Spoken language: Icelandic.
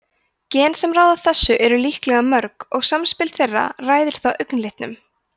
gen sem ráða þessu eru líklega mörg og samspil þeirra ræður þá augnlitnum